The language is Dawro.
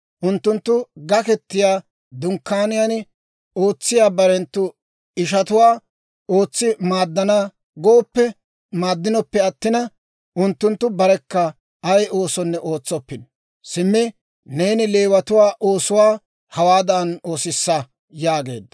Unttunttu Gaketiyaa Dunkkaaniyaan ootsiyaa barenttu ishatuwaa ootsi maaddana gooppe maaddinoppe attina, unttunttu barekka ay oosonne ootsoppino. Simmi neeni Leewatuwaa oosuwaa hawaadan oosissaasa» yaageedda.